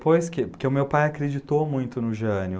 Pois que, porque o meu pai acreditou muito no Jânio.